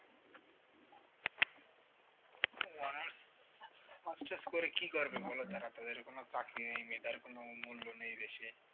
honours masters করে কি করবে তারা তাদের কোন কাজ নেই মেধার কোন মূল্য নেই দেশে